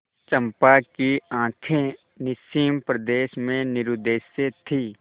चंपा की आँखें निस्सीम प्रदेश में निरुद्देश्य थीं